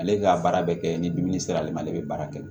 Ale ka baara bɛɛ kɛ ni dimi sera ale ma ale bɛ baara kɛ